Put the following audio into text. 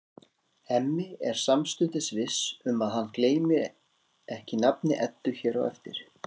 Hemmi er samstundis viss um að hann gleymir ekki nafni Eddu hér eftir.